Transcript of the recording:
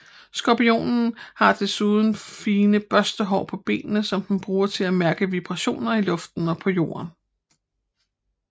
Skorpionen har desuden fine børstehår på benene som den bruger til at mærke vibrationer i luften og på jorden